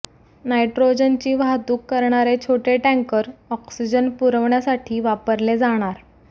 नायट्रोजनची वाहतूक करणारे छोटे टँकर ऑक्सिजन पुरवठयासाठी वापरले जाणार